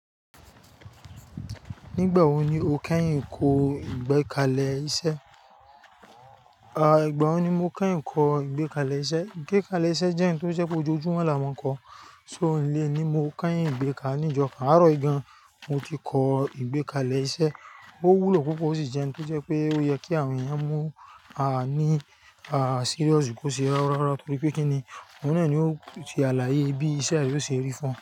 Nígbà wo ni o kẹ́yìn kọ́ ìgbẹ́kalẹ̀ iṣẹ́? À, ìgbà wo ni mo kẹ́yìn kọ́ ìgbẹ́kalẹ̀ iṣẹ́. Ìgbẹ́kalẹ̀ iṣẹ́ jẹ́ ohun tó ṣe pé ojojúmọ́ làá máa ń kọ́. So òní ni mo kẹ́yìn ìgbẹ́kalẹ̀ ní jo ka àárọ̀ yìí gan. Mo ti kọ́ ìgbẹ́kalẹ̀ iṣẹ́. Ó wúlò púpọ̀ ó sì jẹ ohun tó je pé ó yẹ kí àwọn èèyàn mú a ní, à, serious kó ṣe rárá torí pé kí ni, òun náà ni ó ti àlàyé bí iṣẹ́ rẹ ó ṣe rí fún ọ.